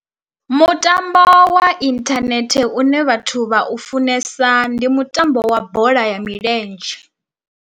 Mutambo wa inthanethe une vhathu vha u funesa ndi mutambo wa bola ya milenzhe.